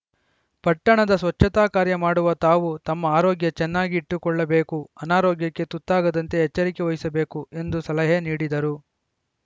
ಪಟ್ಟಣದ ಸ್ವಚ್ಛತಾ ಕಾರ್ಯ ಮಾಡುವ ತಾವು ತಮ್ಮ ಆರೋಗ್ಯ ಚೆನ್ನಾಗಿ ಇಟ್ಟುಕೊಳ್ಳಬೇಕು ಅನಾರೋಗ್ಯಕ್ಕೆ ತುತ್ತಾಗದಂತೆ ಎಚ್ಚರಿಕೆ ವಹಿಸಬೇಕು ಎಂದು ಸಲಹೆ ನೀಡಿದರು